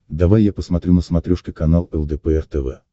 давай я посмотрю на смотрешке канал лдпр тв